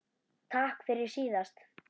Takk fyrir síðast?